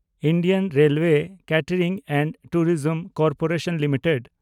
Indian railway catering and tourism corporation limited